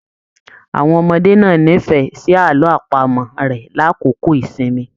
Àwọn ọmọdé náà n'ifẹ sí àlọ àpamọ̀ rẹ l'akoko ìsinmi.